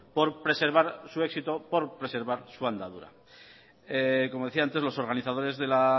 por preservar su éxito por preservar su andadura como decía antes los organizadores de la